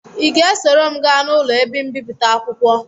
Ị ga-esoro m gaa n'ụlọ ebe mbipụta akwụkwọ